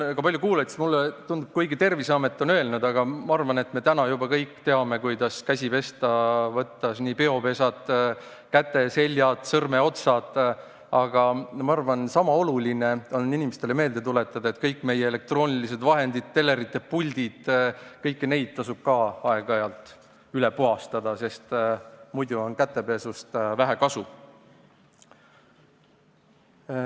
Tänu Terviseametile me kõik täna juba teame, kuidas käsi pesta, võttes ette nii peopesad, käeseljad kui ka sõrmeotsad, aga ma arvan, et sama oluline on inimestele meelde tuletada sedagi, et kõik meie elektroonilised vahendid, telerite puldid tasub samuti aeg-ajalt üle puhastada, sest muidu on kätepesust vähe kasu.